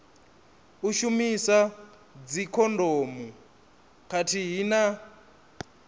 u shumisa dzikhondomu khathihi na